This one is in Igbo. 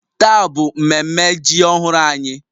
Taa bụ mmemme ji ọhụrụ anyị